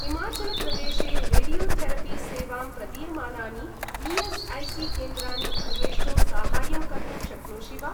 हिमाचलप्रदेशे रेडियोथेरपि सेवां प्रदीयमानानि ई.एस्.ऐ.सी.केन्द्राणि अन्वेष्टुं साहाय्यं कर्तुं शक्नोषि वा?